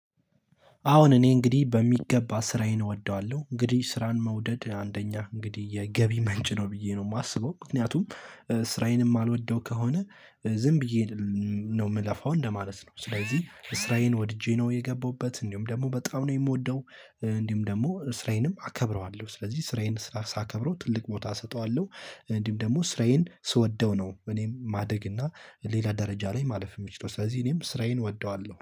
አዎን እኔ እንግዲህ በሚገባ ስራዬን እወደዋለሁ እንግዲህ ስራን መውደድ አንደኛ እንግዲህ የገቢ መንጭ ነው ብዬ ነው የማስበው ምክንያቱም ስራዬንም ማልወደው ከሆነ ዝም ብዬ ነው የምለፋው እንደማለት ነው ስለዚህ ስራዬን ወድጄ ነው የገባውበት እንዲሁም ደግሞ በጣም ነው የምወደው እንዲሁም ደግሞ ስራዬንም አከብረዋለሁ። ስለዚህ ስራዬን ስራ ሳከብረው ትልቅ ቦታ እሰጠዋለሁ፤ እንዲህም ደግሞ ስራዬን ስወደው ነው እኔም ማደግ እና ሌላ ደረጃ ላይ ማለፍ የምችለው ስለዚህ እኔም ስራዬን እወደዋለሁ።